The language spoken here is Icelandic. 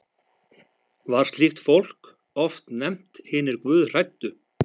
Var slíkt fólk oft nefnt hinir guðhræddu.